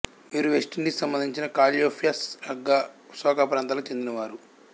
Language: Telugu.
వీరు వెస్ట్ ఇండీస్ కు సంబంధించిన కాల్య్ప్సో రగ్గా సోక ప్రాంతాలకు చెందిన వారు